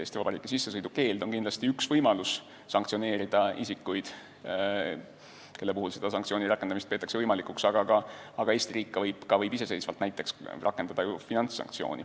Eesti Vabariiki sissesõidu keeld on kindlasti üks võimalus karistada isikuid, kelle puhul selle sanktsiooni rakendamist peetakse võimalikuks, aga Eesti riik võib ka iseseisvalt rakendada näiteks finantssanktsiooni.